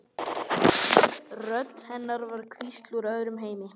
Rödd hennar var sem hvísl úr öðrum heimi.